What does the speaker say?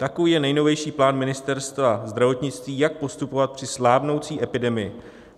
Takový je nejnovější plán Ministerstva zdravotnictví, jak postupovat při slábnoucí epidemii.